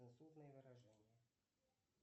выражения